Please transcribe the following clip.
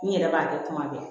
N yɛrɛ b'a kɛ kuma bɛɛ